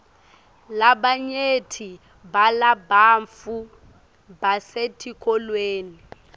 labanyenti balabantfu basetikolweni